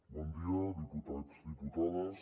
bon dia diputats diputades